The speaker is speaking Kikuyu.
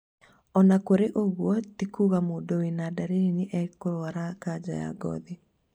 Ona kũrĩ oũguo ti kuga mũndũ wĩna dariri nĩ ekũrũara kanja ya ngothi